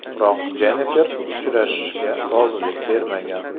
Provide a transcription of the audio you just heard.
Biroq Jennifer uchrashishga rozilik bermagan.